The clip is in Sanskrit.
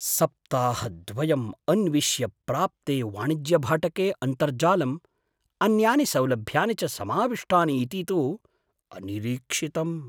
सप्ताहद्वयं अन्विश्य प्राप्ते वाणिज्यभाटके अन्तर्जालं, अन्यानि सौलभ्यानि च समाविष्टानि इति तु अनिरीक्षितम्।